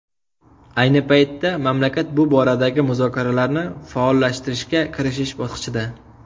Ayni paytda, mamlakat bu boradagi muzokaralarni faollashtirishga kirishish bosqichida.